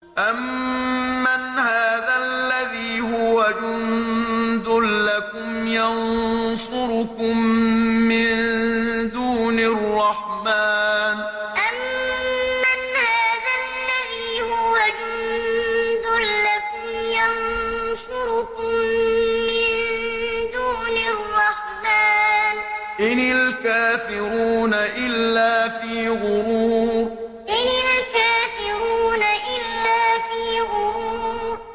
أَمَّنْ هَٰذَا الَّذِي هُوَ جُندٌ لَّكُمْ يَنصُرُكُم مِّن دُونِ الرَّحْمَٰنِ ۚ إِنِ الْكَافِرُونَ إِلَّا فِي غُرُورٍ أَمَّنْ هَٰذَا الَّذِي هُوَ جُندٌ لَّكُمْ يَنصُرُكُم مِّن دُونِ الرَّحْمَٰنِ ۚ إِنِ الْكَافِرُونَ إِلَّا فِي غُرُورٍ